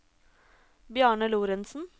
Bjarne Lorentzen